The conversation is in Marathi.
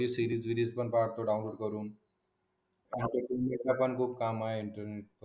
सिरीज बिरीज पण काढतो डाऊनलोड करून इथे पण खूप काम आहे इंटरनेटवरून